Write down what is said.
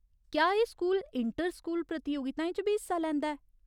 क्या एह् school inter school प्रतियोगिताएं च बी हिस्सा लैंदा ऐ ?